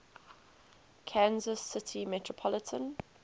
kansas city metropolitan